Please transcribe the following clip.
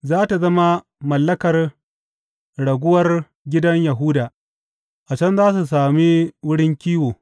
Za tă zama mallakar raguwar gidan Yahuda; a can za su sami wurin kiwo.